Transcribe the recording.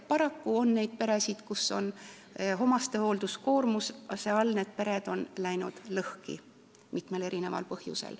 Paraku on peresid, mis on omastehoolduse koormuse all läinud lõhki, seda mitmel põhjusel.